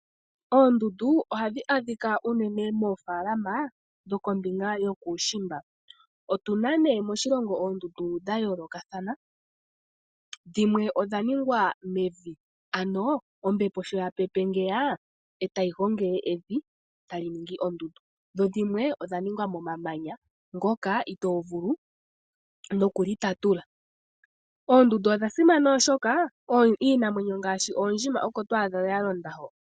Oondundu ohadhi adhika unene moofaalama dhokombinga yokuushimba. Otu na moshilongo oondundu dha yoolokathana, dhimwe odha ningwa mevi, ano ombepo sho ya pepe ngeya, e tayi gongele evi, tali ningi oondundu. Dho dhimwe odha ningwa momamanya ngoka itoo vulu noku li tatula. Oondundu odha simana oshoka iinamwenyo ngaashi oondjima oko to adha dha londa ho.